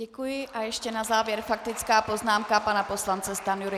Děkuji a ještě na závěr faktická poznámka pana poslance Stanjury.